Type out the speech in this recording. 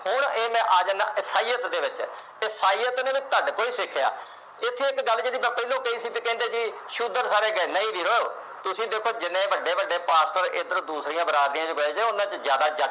ਹੁਣ ਇਹ ਮੈਂ ਆ ਜਾਣਾ ਇਸਾਇਤ ਦੇ ਵਿਚ ਤੇ ਇਸਾਇਤ ਦੇ ਵਿਚ ਤੁਹਾਡੇ ਕੋਲੇ ਸਿੱਖਿਆ ਇਥੇ ਇਕ ਗੱਲ ਕੀਤੀ ਮੈਂ ਪਹਿਲੋਂ ਕਹੀ ਸੀ ਕਹਿੰਦੇ ਜੀ ਸ਼ੂਦਰ ਸਾਰੇ ਨਹੀਂ ਵੀਰ ਤੁਸੀ ਦੇਖੋ ਜਿੰਨੇ ਵੱਡੇ ਵੱਡੇ ਪਾਸਟਰ ਇਧਰ ਦੂਸਰੀਆਂ ਬਰਾਦਰੀਆਂ ਵਿਚ ਮਿਲਦੇ ਉਨ੍ਹਾਂ ਵਿਚ ਜਿਆਦਾ ਜੱਟ